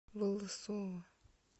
волосово